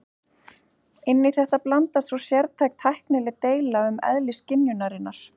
Inn í þetta blandast svo sértæk tæknileg deila um eðli skynjunarinnar.